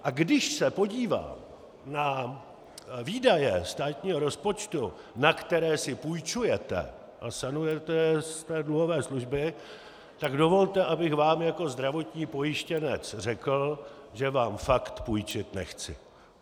A když se podívám na výdaje státního rozpočtu, na které si půjčujete a sanujete z té dluhové služby, tak dovolte, abych vám jako zdravotní pojištěnec řekl, že vám fakt půjčit nechci.